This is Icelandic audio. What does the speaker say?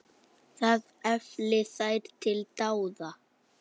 Það efli þær til dáða.